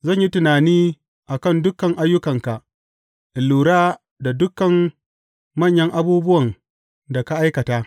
Zan yi tunani a kan dukan ayyukanka in lura da dukan manyan abubuwan da ka aikata.